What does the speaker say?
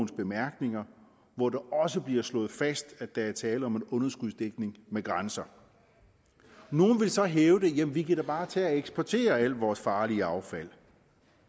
bemærkninger hvor det også bliver slået fast at der er tale om en underskudsdækning med grænser nogle vil så hævde at vi da bare kan tage og eksportere alt vores farlige affald